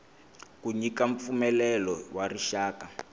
ku nyika mpfumelelo wa rixaka